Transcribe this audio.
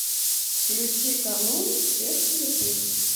включи канун всех святых